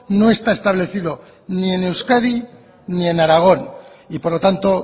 no está establecido ni en euskadi ni en aragón y por lo tanto